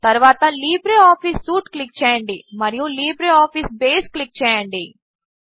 తరువాత LibreOffice suite click చేయండి మరియు లిబ్రేఆఫీస్ బేస్ క్లిక్ చేయండి